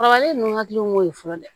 Kɔrɔbalen ninnu hakili b'o ye fɔlɔ dɛ